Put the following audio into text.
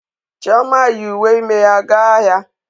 Chioma yi uwe ime ya ga ahịa.